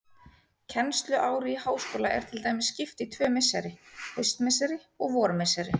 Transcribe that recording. Kennsluári í háskóla er til dæmis skipt í tvö misseri, haustmisseri og vormisseri.